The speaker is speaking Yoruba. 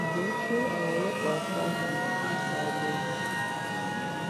ṣùgbọn ṣé àwọn ọlọpàá sars yìí tún dáa mọ ni